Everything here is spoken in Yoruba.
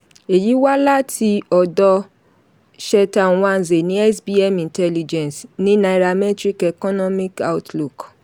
èyí wá láti ọ̀dọ cheta nwanze ní sbm intelligence ní nairametrics economic outlook.